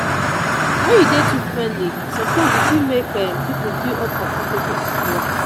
when you dey too friendly sometimes e fit make um people feel uncomfortable at work.